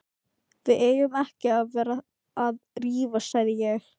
Sagði ekki engillinn að við yrðum að ganga?